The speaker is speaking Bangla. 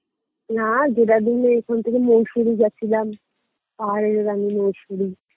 না দেরাদুনের ওখান থেকে মুসৌরী গেছিলাম পাহাড়ের রানী মুসৌরী